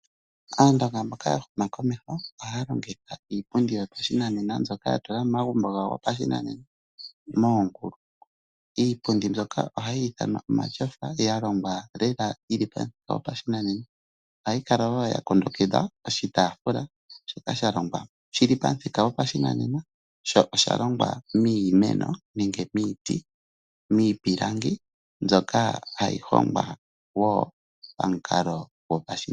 Aandonga mboka yahuma komeho ohaya longitha iipundi yopashinanena mbyoka yatula momagumbo gawo gopashinanena, moongulu. Iipundi mbyoka ohayi ithanwa omatyofa galongwa lela yili pamuthika goshinanena . Ohayi kala woo yakundukidha oshitaafula , shoka shalongwa shili pamuthika gopashinanena, sho oshalongwa miimeno nenge miiti noshowoo miipilangi mbyoka hayi hongwa woo.